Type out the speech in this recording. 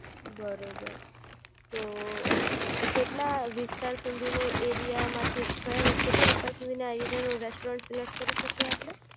બરોબર તો કેટલા વિસ્તાર સુધીનો એરિયા માંથી કયા કેટલા વિસ્તાર સુધીના એરિયાનું રેસ્ટોરંટ સિલેક્ટ કરી શકીયે આપડે